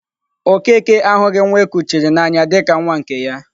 Okeke ahụghị nwa e kuchiri n'anya dị ka nwa nke ya.